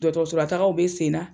Dɔgɔtɔrɔso la tagaw bi sen na